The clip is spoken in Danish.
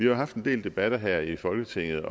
jo haft en del debat her i folketinget